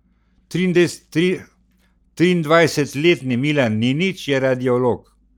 Triindvajsetletni Milan Ninić je radiolog.